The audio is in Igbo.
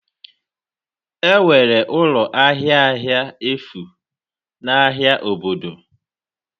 Enwere ụlọ ahịa ahịa efu n'ahịa obodo?